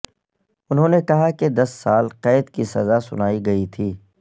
انہوں نے کہا کہ دس سال قید کی سزا سنائی گئی تھی